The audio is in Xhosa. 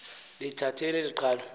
lithatheni eli qhalo